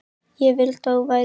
Ég vildi að þú værir hér.